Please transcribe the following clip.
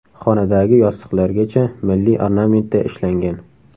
Xonadagi yostiqlargacha milliy ornamentda ishlangan.